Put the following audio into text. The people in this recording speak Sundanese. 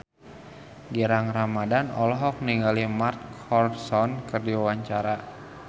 Gilang Ramadan olohok ningali Mark Ronson keur diwawancara